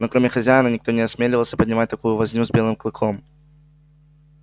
но кроме хозяина никто не осмеливался поднимать такую возню с белым клыком